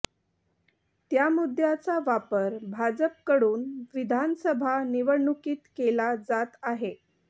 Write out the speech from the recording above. त्या मुद्द्याचा वापर भाजपकडून विधानसभा निवडणुकीत केला जात आहे